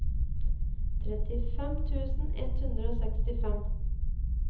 trettifem tusen ett hundre og sekstifem